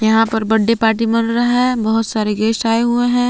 यहां पर birthday party मन रहा है बहुत सारे गेस्ट आए हुए है।